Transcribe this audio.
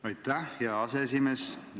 Aitäh, hea aseesimees!